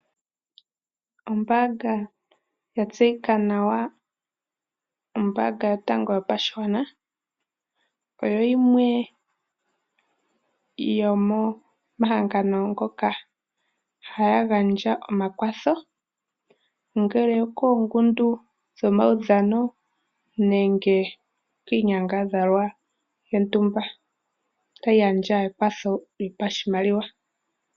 Ombaanga yatseyika nawa ombaanga yotango yopashigwana oyo yimwe yomomahangano ngoka haga gandja omakwatho koongundu dhomaudhano nenge kiinyangadhalwa yontumba tayi pumbwa ekwatho lyopashimaliwa.